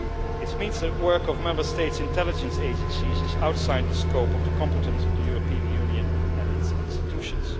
This means that the work of Member States' intelligence agencies is outside the scope of the competence of the European Union and its institutions.